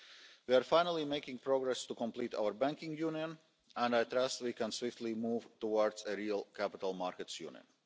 We are finally making progress to complete our Banking Union and I trust we can move swiftly towards a real Capital Markets Union.